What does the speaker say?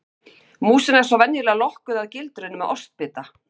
Músin er svo venjulega lokkuð að gildrunni með ostbita.